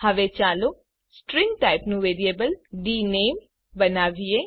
હવે ચાલો સ્ટ્રીંગ ટાઇપનું વેરિયેબલ ડીનેમ બનાવીએ